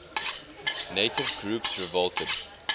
native groups revolted